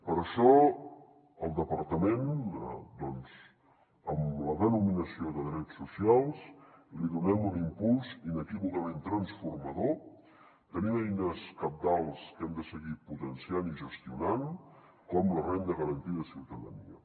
per això al departament doncs amb la denominació de drets socials donem un impuls inequívocament transformador tenint eines cabdals que hem de seguir potenciant i gestionant com la renda garantida de ciutadania